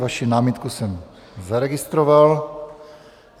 Vaši námitku jsem zaregistroval.